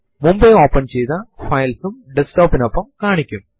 Files ഉം subdirectory കളും സാധാരണയായി വ്യത്യസ്ത കളറിലാണ് കാണിച്ചിരിക്കുന്നത്